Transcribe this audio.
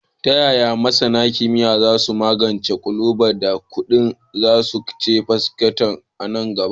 Ta yaya masana kimiyya za su magance ƙalubalen da ƙudan zuma ke fuskanta a nan gaba?